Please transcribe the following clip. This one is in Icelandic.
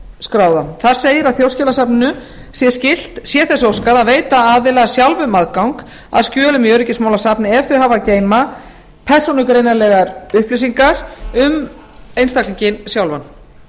skráða þar segir að þjóðskjalasafninu sé skylt sé þess óskað að veita aðila sjálfum aðgang að skjölum í öryggismálasafni ef þau hafa að geyma persónugreinanlegar upplýsingar um einstaklinginn sjálfan